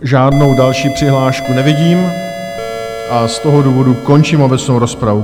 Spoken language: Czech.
Žádnou další přihlášku nevidím a z toho důvodu končím obecnou rozpravu.